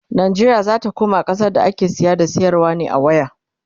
Najeriya zata koma ƙasa da ake saya da sayarwa ne a waya